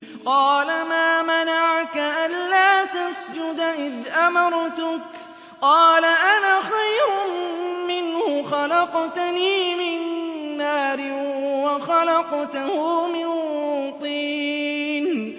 قَالَ مَا مَنَعَكَ أَلَّا تَسْجُدَ إِذْ أَمَرْتُكَ ۖ قَالَ أَنَا خَيْرٌ مِّنْهُ خَلَقْتَنِي مِن نَّارٍ وَخَلَقْتَهُ مِن طِينٍ